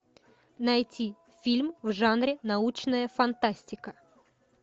найти фильм в жанре научная фантастика